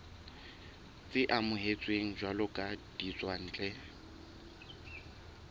tse amohetsweng jwalo ka ditswantle